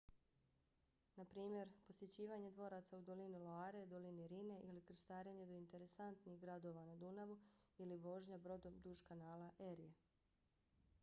naprimjer posjećivanje dvoraca u dolini loire dolini rhine ili krstarenje do interesantnih gradova na dunavu ili vožnja brodom duž kanala erie